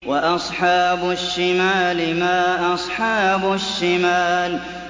وَأَصْحَابُ الشِّمَالِ مَا أَصْحَابُ الشِّمَالِ